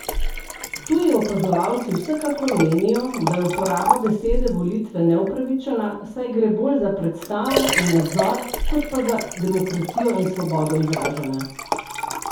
Tuji opazovalci vsekakor menijo, da je uporaba besede volitve neupravičena, saj gre bolj za predstavo in nadzor kot pa za demokracijo in svobodno izražanje.